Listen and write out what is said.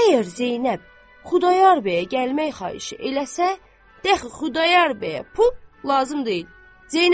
Əgər Zeynəb Xudayar bəyə gəlmək xahişi eləsə, dəxi Xudayar bəyə pul lazım deyil.